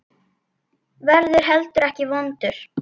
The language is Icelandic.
Verður heldur ekki vondur.